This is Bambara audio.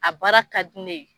A baara ka di ne ye.